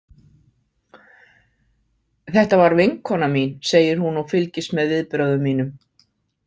Þetta var vinkona mín, segir hún og fylgist með viðbrögðum mínum.